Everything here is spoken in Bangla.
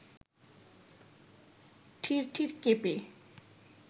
ঠিরঠির কেঁপে